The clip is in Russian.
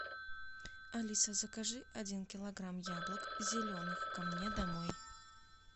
алиса закажи один килограмм яблок зеленых ко мне домой